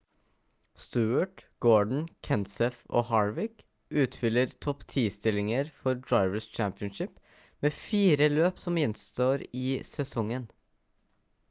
stewart gordon kenseth og harvick utfyller topp-ti stillingene for drivers' championship med fire løp som gjenstår i sesongen